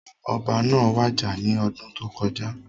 Ọba náà wàjà ní ọdún tó kọjá